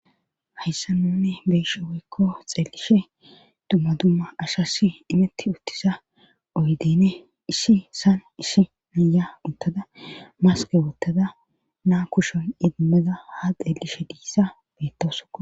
hayssa nuni beeshe woykko xeelishe dumma dumma ashassi imitti uttisa oydeyne ishshi saan ishi niya uttada maske wuttada naa kushon idimeza ha xeelishe diissa bettosoo